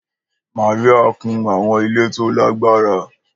Maria kùn àwọn ilẹ̀ tó lágbára.